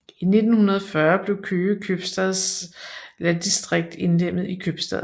I 1940 blev Køge købstads landdistrikt indlemmet i købstaden